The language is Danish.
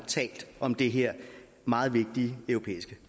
har talt om det her meget vigtige europæiske